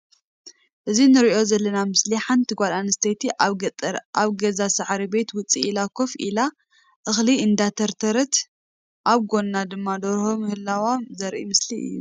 እዚ እንሪኦ ዘለና ምስሊ ሓንቲ ጓል ኣንስተይቲ ኣብ ገጠር ካብ ገዛ ሳዕሪ ቤት ውፅእ ኢላ ኮፍ ኢላ እኽሊ እንዳንተርተረት ኣብ ጎና ድማ ደርሆ ምህላዋ ዘርኢ ምስሊ እዩ።